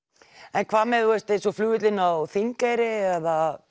en hvað með eins og flugvöllinn á Þingeyri eða